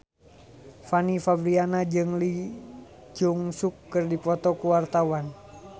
Fanny Fabriana jeung Lee Jeong Suk keur dipoto ku wartawan